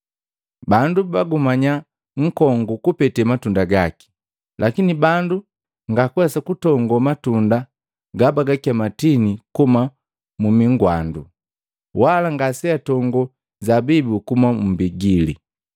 Bandu bugumanya nkongu kupete matunda gaki, lakini bandu ngakuwesa kutongo matunda gabagakema tini kuhuma mumi gwandu, wala ngaseatongo zabibu kuhuma mmbigili.